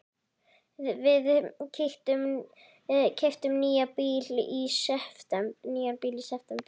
Við keyptum nýjan bíl í september.